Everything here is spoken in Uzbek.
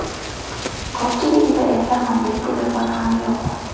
Ko‘pchiligida esa mobil telefon ham yo‘q.